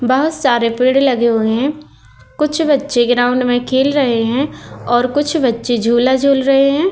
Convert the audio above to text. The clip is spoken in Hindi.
बहोत सारे पेड़ लगे हुए हैं कुछ बच्चे ग्राउंड में खेल रहे हैं और कुछ बच्चे झूला झूल रहे हैं।